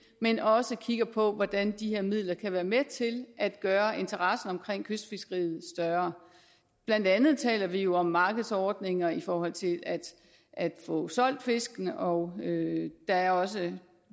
men også kigger på hvordan de her midler kan være med til at gøre interessen omkring kystfiskeriet større blandt andet taler vi jo om markedsordninger i forhold til at få solgt fiskene og der er også en